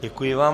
Děkuji vám.